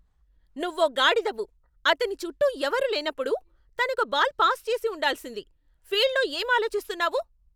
నువ్వో గాడిదవు. అతని చుట్టూ ఎవరూ లేనప్పుడు, తనకు బాల్ పాస్ చేసి ఉండాల్సింది. ఫీల్డ్లో ఏం ఆలోచిస్తున్నావు?